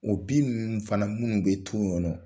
O bin minnu fana minnu bɛ to yen nɔ